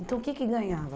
Então, o que que ganhava?